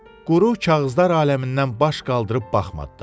Quru kağızlar aləmindən baş qaldırıb baxmadı da.